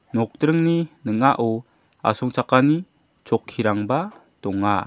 nokdringni ning·ao asongchakani chokkirangba donga.